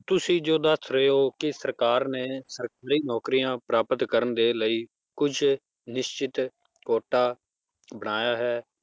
ਤੁਸੀਂ ਜੋ ਦੱਸ ਰਹੇ ਕਿ ਸਰਕਾਰ ਨੇ ਸਰਕਾਰੀ ਨੌਕਰੀਆਂ ਪ੍ਰਾਪਤ ਕਰਨ ਦੇ ਲਈ ਕੁਛ ਨਿਸ਼ਚਿਤ ਕੋਟਾ ਬਣਾਇਆ ਹੈ